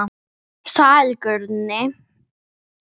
Sæll Guðni.